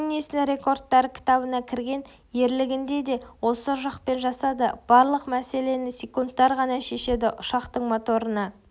гиннесстің рекордтар кітабына кірген ерлігін де осы ұшақпен жасады барлық мәселені секундтар ғана шешеді ұшақтың моторына